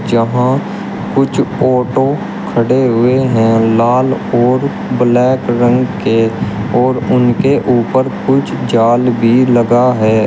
जहां कुछ ऑटो खड़े हुए हैं लाल और ब्लैक रंग के और उनके ऊपर कुछ जाल भी लगा है।